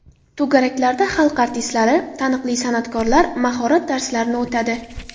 To‘garaklarda xalq artistlari, taniqli san’atkorlar mahorat darslarini o‘tadi.